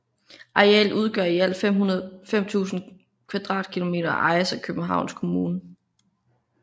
Arealet udgør i alt 5000 m2 og ejes af Københavns Kommune